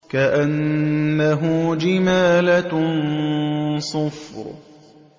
كَأَنَّهُ جِمَالَتٌ صُفْرٌ